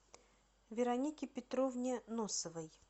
веронике петровне носовой